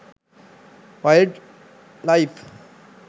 wild life